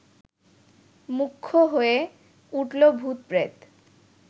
মুখ্য হয়ে উঠল ভূত-প্রেত!